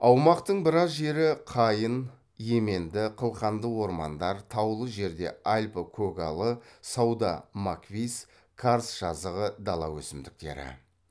аумақтың біраз жері қайын еменді қылқанды ормандар таулы жерде альпі көгалы сауда маквис карст жазығы дала өсімдіктері